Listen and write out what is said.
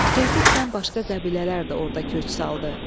Tezliklə başqa qəbilələr də orda köç saldı.